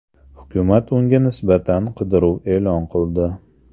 Hukumat unga nisbatan qidiruv e’lon qildi.